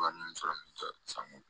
Wa ninnu sɔrɔ min tɛ san